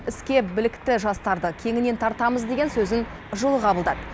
іске білікті жастарды кеңінен тартамыз деген сөзін жылы қабылдады